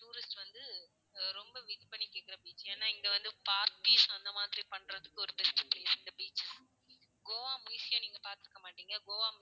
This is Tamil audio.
tourist வந்து ரொம்ப will பண்ணி கேக்குறது. ஏன்னா இங்க வந்து forest அந்த மாதிரி பான்றதுக்கு ஒரு best place இந்த beach கோவா museum உம் நீங்க பாத்திருக்க மாட்டீங்க. கோவா